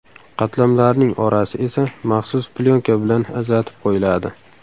Qatlamlarning orasi esa maxsus plyonka bilan ajratib qo‘yiladi.